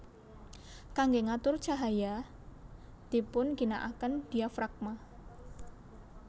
Kangge ngatur cahaya dipun ginakaken diafragma